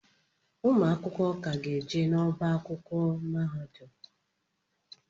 Ụmụ akwụkwọ ka ga-eje n'ọba akwụkwọ mahadum.